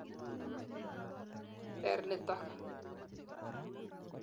Ter nitok.